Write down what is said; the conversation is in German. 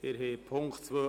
Abstimmung (Ziff.